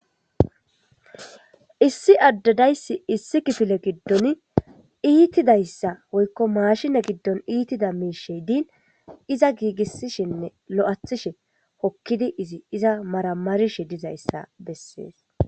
issi addadayssi issi kifile giddon iitidayssa woykko maashine giddon iitida miishe diin iza giigissishinne lo7athishe hokkidi izi iza maramarishe dizayssa bessees